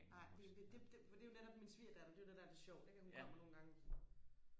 nej det det for det er jo netop min svigerdatter det er jo det der er lidt sjovt ikke at hun kommer nogle gange